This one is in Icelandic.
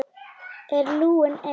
Er Lúlli einn?